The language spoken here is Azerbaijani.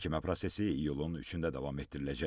Məhkəmə prosesi iyulun 3-də davam etdiriləcək.